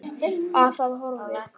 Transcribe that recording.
Að það er horfið!